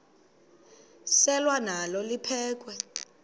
selwa nalo liphekhwe